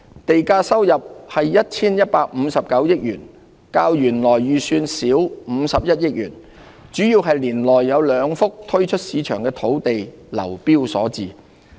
地價收入為 1,159 億元，較原來預算少51億元，主要是年內有兩幅推出市場的土地流標所致。